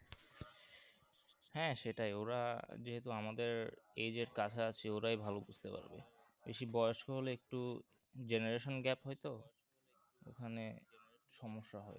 হ্যাঁ সেটাই ওরা যেহুতু আমাদের age এর কাছাকাছি ওরাই ভালো বুঝতে পারবে বেশি বয়স্ক হলে একটু generation gap হয়ে তো ওখানে সমস্যা হয়ে আর কি